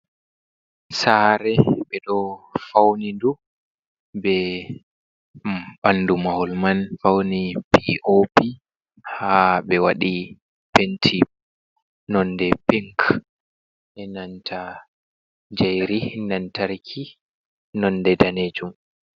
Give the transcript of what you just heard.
Saare ɓe ɗo faunidu be ɓandu mahol man fauni pop ha be waɗi penti nonde pink nanta jayeri lantarki nonde danejum.